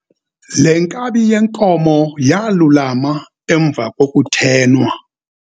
Le nkabi yenkomo yalulama emva kokuthenwa.